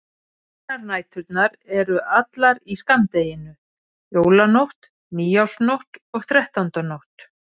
Hinar næturnar eru allar í skammdeginu: Jólanótt, nýársnótt og þrettándanótt.